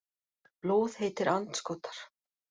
Blóðheitir andskotar.